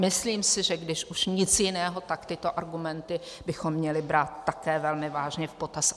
Myslím si, že když už nic jiného, tak tyto argumenty bychom měli brát také velmi vážně v potaz.